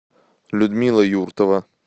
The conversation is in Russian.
людмила юртова